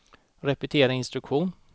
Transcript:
repetera instruktion